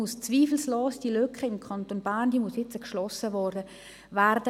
Diese Lücke muss im Kanton Bern nun zweifellos geschlossen werden.